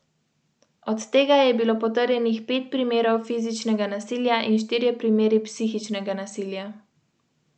Kroglice osmih četrtfinalistov pokala Slovenije so na Gorenjskem vse bolj vroče.